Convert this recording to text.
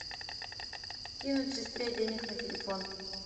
кинуть сестре денег на телефон